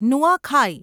Nuakhai